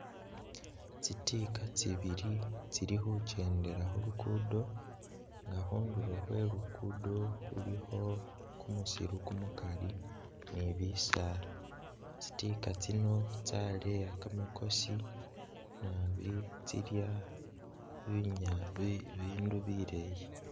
Tsi tigga tsibili tsili khukyendela khulukudo nga khundulo khwe lugudo khulikho kumusiru kumukali ni bisaala tsi tigga tsino tsleya kamakosi naabi tsilya bindu bileyi